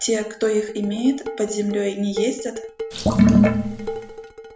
те кто их имеет под землёй не ездят